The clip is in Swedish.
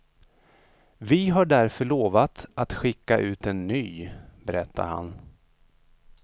Vi har därför lovat att skicka ut en ny, berättar han.